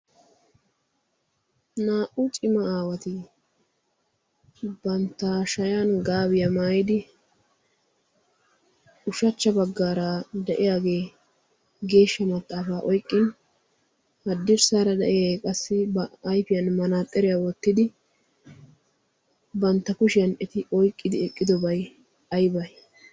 naa"u cima aawati bantta shayan gaabiyaa maayidi ushachcha baggaara de'iyaagee geeshsha maxaafaa oiqqin haddirssaara de'iya qassi ba aifiyan manaaxxeriyaa wottidi bantta kushiyan eti oyqqidi eqqidobai aibai